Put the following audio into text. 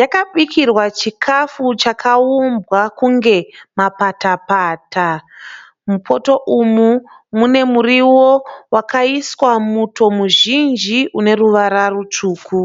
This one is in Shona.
yakabikirwa chikafu chakaumbwa kunge mapata pata. Mupoto umu mune muriwo wakaiswa muto muzhinji une ruvara rutsvuku.